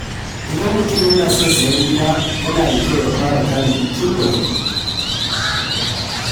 Idan mutum yana son sayan gida, yana da kyau ya fara tanadi tun da wuri.